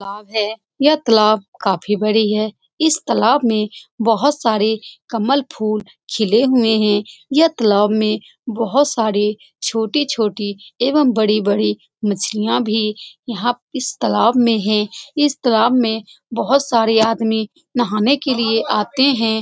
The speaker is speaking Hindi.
तालाब है। ये तालाब काफी बड़ी है। इस तालाब में बहुत सारे कमल फूल खिले हुए है। ये तालाब में बहुत सारे छोटे-छोटे एवम बड़े-बड़े मछलिया भी यहाँ इस तालाब में है। इस तालाब में बहुत सारे आदमी नहाने के लिए आते है।